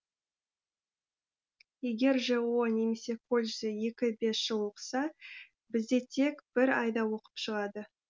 егер жоо немесе колледжде екі бес жыл оқыса бізде тек бір айда оқып шығады